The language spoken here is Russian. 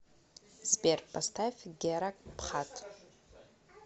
сбер поставь гера пхат